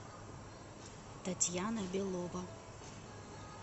татьяна белова